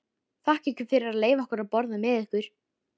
Þakka ykkur fyrir að leyfa okkur að borða með ykkur.